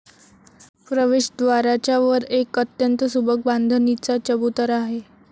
प्रवेशद्वाराच्या वर एक अत्यंत सुबक बांधणीचा चबुतरा आहे.